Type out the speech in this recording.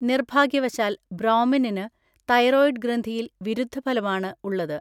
നിർഭാഗ്യവശാൽ ബ്രോമിനിന് തൈറോയിഡ് ഗ്രന്ഥിയിൽ വിരുദ്ധഫലമാണ് ഉള്ളത്.